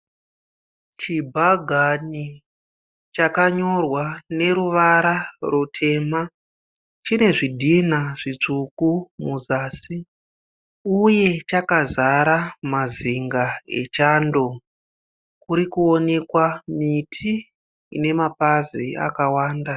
Chibhagani chakanyorwa neruvara rutema. Chine zvidhina zvitsvuku muzasi. Uye chakazara mazinga echando . Kurikuonekwa miti inemapazi akawanda.